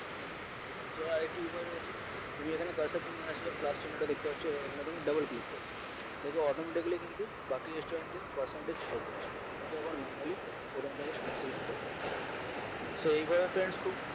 যে আর একটা উপায় রয়েছে তুমি ওখানে cursor টা নিয়ে আসলে plus চিহ্ন টা দেখতে পাচ্ছ ওখানে তুমি double click করো দেখবে automatically কিন্তু বাকি student এ percentage show করছে তুমি তখন manually ওখান থেকে সমস্ত কিছু করবে সেই ভাবে friends খুব